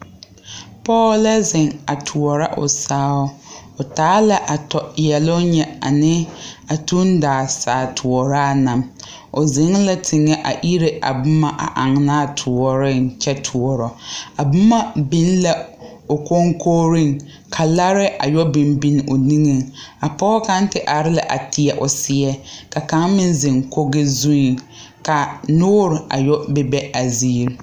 Pɔɔ lɛ zeŋ a toɔrɔ o saao o taa la a tɔ yɛloŋ nyɛ ane a tuŋdaa saa toɔraa na o zeŋ la teŋɛ a ire a boma aŋnaa toɔreŋ kyɛ toɔrɔ a boma biŋ la o koŋkogreŋ ka laarɛɛ a yɔ biŋ biŋ o niŋeŋ a pɔɔ kaŋ ti are la a teɛ seɛ ka kaŋ meŋ zeŋ kogi zuŋ ka noore a yɔ bebe a zie.